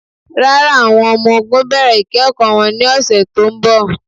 Rárá, awọn ọmọ-ò̩gùn n bẹ̀rẹ̀ ikẹ̀kọ wọn ni ọ̀ṣẹ̀ tó nbọ̀.